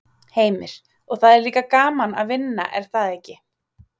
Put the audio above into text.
Heimir: Og það er líka gaman að vinna er það ekki?